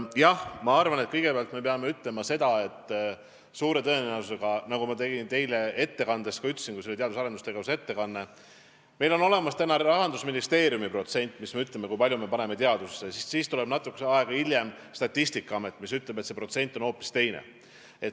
Jah, kõigepealt pean ütlema seda, nagu ma ka ütlesin, kui mul oli ettekanne teadus- ja arendustegevuse teemal, et suure tõenäosusega on tavaliselt nii, et Rahandusministeeriumil on välja toodud protsent, kui palju me paneme raha teadusesse, aga siis tuleb natuke aega hiljem Statistikaamet ja ütleb, et see protsent on hoopis teine.